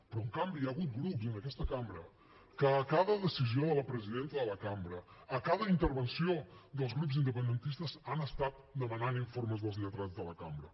però en canvi hi ha hagut grups en aquesta cambra que a cada decisió de la presidenta de la cambra a cada intervenció dels grups independentistes han estat demanant informes dels lletrats de la cambra